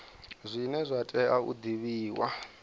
zwine zwa tea u divhiwa